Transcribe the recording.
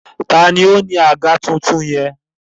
Taàní ó ní àga tuntun yẹn?